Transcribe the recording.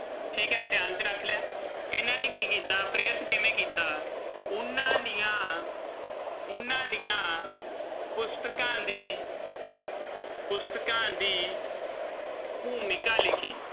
ਠੀਕ ਹੈ ਧਿਆਨ 'ਚ ਰੱਖ ਲਿਆ ਇਹਨਾਂ ਨੇ ਕੀ ਕੀਤਾ ਪ੍ਰੇਰਿਤ ਕਿਵੇਂ ਕੀਤਾ ਉਹਨਾਂ ਦੀਆਂ ਉਹਨਾਂ ਦੀਆਂ ਪੁਸਤਕਾਂ ਦੀ ਪੁਸਤਕਾਂ ਦੀ ਭੂਮਿਕਾ ਲਿਖੀ।